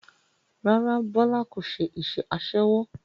Rárá Bọlá kò ṣe iṣẹ́ aṣẹ́wó